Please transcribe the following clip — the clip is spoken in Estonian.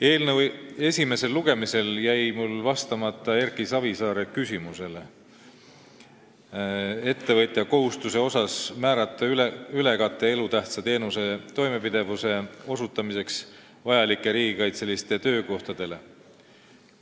Eelnõu esimesel lugemisel jäi mul vastamata Erki Savisaare küsimusele ettevõtja kohustuse kohta määrata ülekate elutähtsa teenuse osutamiseks vajalikele riigikaitselistele töökohtadele.